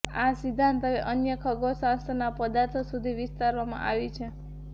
આ સિદ્ધાંત હવે અન્ય ખગોળશાસ્ત્રના પદાર્થો સુધી વિસ્તારવામાં આવી છે